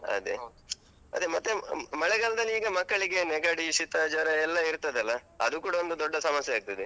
ಅದೆ ಮತ್ತೆ ಮಳೆಗಾಲ್ದಲೀಗ ಮಕ್ಕಳಿಗೆ ನೆಗಡಿ, ಶೀತ, ಜ್ವರ ಎಲ್ಲ ಇರ್ತದಲ್ಲ, ಅದೂ ಕೂಡ ಒಂದೂ ದೊಡ್ಡ ಸಮಸ್ಯೆ ಆಗ್ತದೆ.